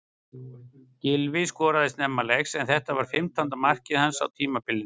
Gylfi skoraði snemma leiks en þetta var fimmtánda mark hans á tímabilinu.